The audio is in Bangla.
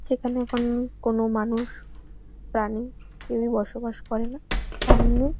যেখানে এখন কোন মানুষ প্রাণী কেউই বসবাস করে না সামনে --